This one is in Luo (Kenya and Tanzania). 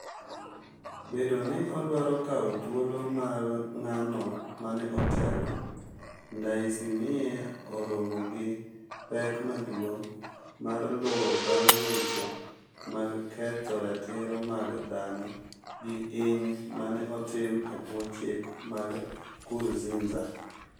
Bedo ni odwaro kawo dhuolo mar ng'ano mane otelo, Ndaysimiye oromo gi pek maduong' mar luwo bang' weche mag ketho ratiro mag dhano gi hiny mane otim e bwo chik mar Nkurnziza.